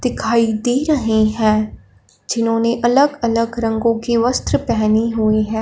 दिखाई दे रहे हैं जिन्होंने अलग अलग रंगों के वस्त्र पहनी हुई हैं।